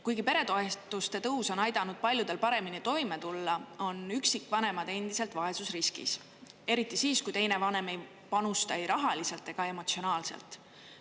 Kuigi peretoetuste tõus on aidanud paljudel paremini toime tulla, on üksikvanemad endiselt vaesusriskis, eriti siis, kui teine vanem ei panusta ei rahaliselt ega emotsionaalselt.